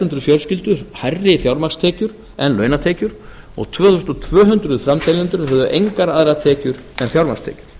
hundruð fjölskyldur hærri fjármagnstekjur en launatekjur og tvö þúsund tvö hundruð framteljendur höfðu engar aðrar tekjur en fjármagnstekjur